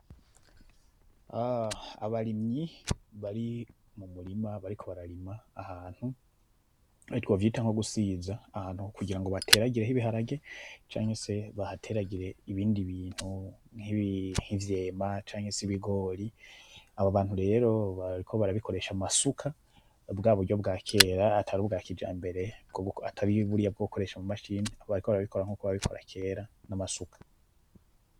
Abarimyi bari mumurima bariko bararima ahantu, nubwo twovyita nko gusiza ahantu, kugira bateragire ibiharage canke se bahateragire ibindi bintu, nki vyema canke se ibigori, abo bantu rero bariko barabikoresha amasuka bwaburyo bwakera atari ubwa kijambere atari buriya bwo gukoresha ama machine, bariko barabikora nkuko babikora kera nama suka.